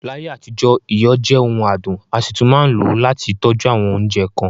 Láyé àtijọ́, iyọ̀ jẹ ọ̀ún àdùn, a sì tún máa ń lò ó láti fì tọ́jú awọn oúnjẹ kan.